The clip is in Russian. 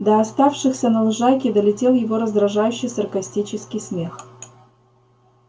до оставшихся на лужайке долетел его раздражающий саркастический смех